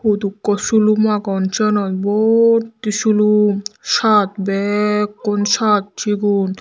hudukko silum agon sianot bahuto silum shirt bekkun shirt sigun.